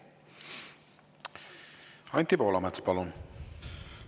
Anti Poolamets, palun!